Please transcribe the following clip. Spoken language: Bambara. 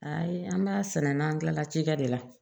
Ayi an b'a sɛnɛ n'an kilala cikɛ de la